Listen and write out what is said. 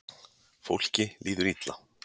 Fólki líður illa